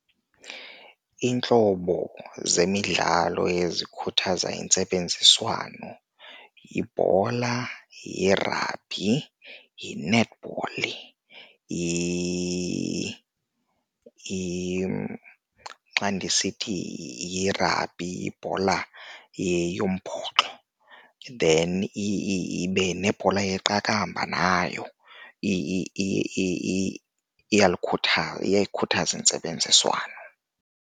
Iintlobo zemidlalo ezikhuthaza intsebenziswano yibhola, yirabhi, yi-netball . Xa ndisithi yirabhi yibhola yombhoxo, then ibe nebhola yeqakamba nayo iyakhuthaza intsebenziswano.